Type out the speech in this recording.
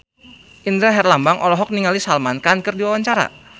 Indra Herlambang olohok ningali Salman Khan keur diwawancara